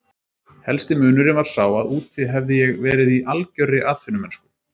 Helsti munurinn var sá að úti hafði ég verið í algjörri atvinnumennsku.